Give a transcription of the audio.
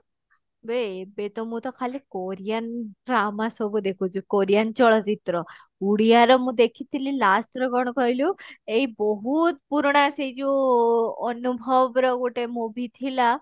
ବେ ଏବେ ତ ମୁଁ ତ ଖାଲି korean drama ସବୁ ଦେଖୁଛି korean ଚଳଚିତ୍ର ଓଡିଆ ରେ ମୁଁ ଦେଖିଥିଲି last ଥର କଣ କହିଲୁ ଏଇ ବହୁତ ପୁରୁଣା ସେଇ ଯଉ ଅନୁଭବ ର ଗୋଟେ movie ଥିଲା